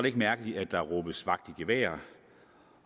ikke mærkeligt at der råbes vagt i gevær